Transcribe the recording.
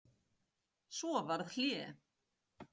Svo varð hlé.